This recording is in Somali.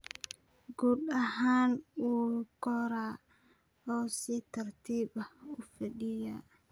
Guud ahaan wuu koraa oo si tartiib ah u fidaa.